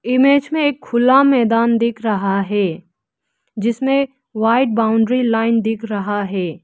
Image में एक खुला मैदान दिख रहा है जिसमें व्हाइट बाउंड्री लाइन दिख रहा है।